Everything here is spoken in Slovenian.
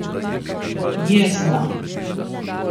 Jezna.